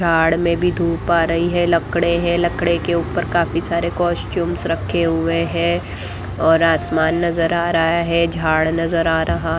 झाड़ में भी धूप आ रही है लकड़े है लकड़े के ऊपर काफी सारे कॉस्ट्यूम्स रखे हुए हैं और आसमान नज़र आ रहा है झाड़ नज़र आ रहा --